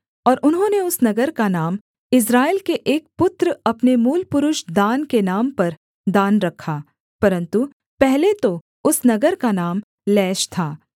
और उन्होंने उस नगर का नाम इस्राएल के एक पुत्र अपने मूलपुरुष दान के नाम पर दान रखा परन्तु पहले तो उस नगर का नाम लैश था